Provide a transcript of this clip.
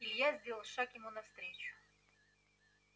илья сделал шаг ему навстречу